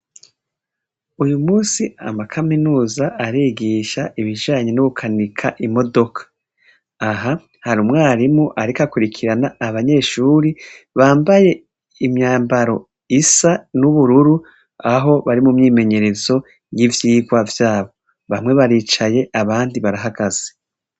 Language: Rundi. Uyu musi amakaminuza arigisha ibijanye no guha ija imodoka . Aha hari umwarimu ariko abanyeshure akurikirana abanyeshure bambaye imyambaro isa n’ubururu Aho bari mu myimenyerezo y’ivyigwa vyabo. Bamwe baricaye abandi barahagaze.